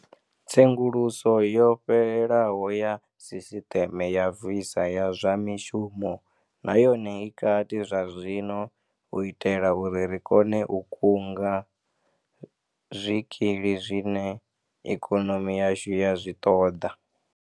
Tsenguluso yo fhelelaho ya sisiṱeme ya visa ya zwa mishumo na yone i kati zwazwino u itela uri ri kone u kunga zwikili zwine ikonomi yashu ya zwi ṱoḓa.